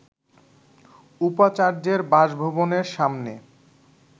উপাচার্যের বাসভবনের সামনে